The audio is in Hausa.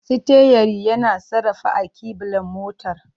Sitiyari yana sarrafa alkiblar motar.